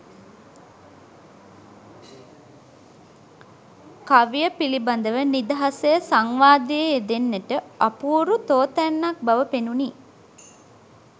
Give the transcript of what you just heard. කවිය පිළිබඳව නිදහසේ සංවාදයේ යෙදෙන්නට අපූරු තෝතැන්නක් බව පෙනුණි.